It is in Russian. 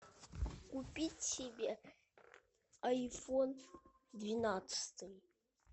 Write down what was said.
купить себе айфон двенадцатый